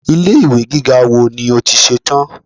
Ilé ìwé gíga wo ni ó ti ṣe tán?